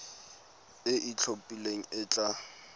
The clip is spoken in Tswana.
e e itlhophileng e tla